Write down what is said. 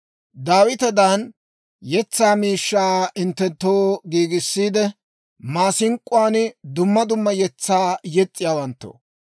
Daawitedan yetsaa miishshaa hinttenttoo giigissiide, maasink'k'uwaan dumma dumma yetsaa yes's'iyaawanttoo,